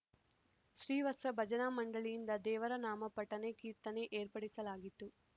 ಶ್ರೀವತ್ಸ ಭಜನಾ ಮಂಡಳಿಯಿಂದ ದೇವರನಾಮ ಪಠನೆ ಕೀರ್ತನೆ ಏರ್ಪಡಿಸಲಾಗಿತ್ತು